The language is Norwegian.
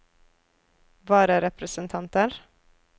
vararepresentanter